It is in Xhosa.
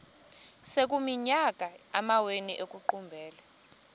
sekuyiminyaka amawenu ekuqumbele